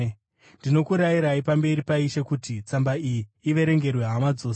Ndinokurayirai pamberi paIshe kuti tsamba iyi iverengerwe hama dzose.